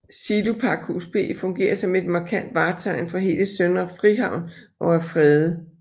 Silopakhus B fungerer som et markant vartegn for hele Søndre Frihavn og er fredet